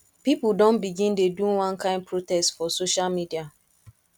pipo don begin dey do one kain protest for social media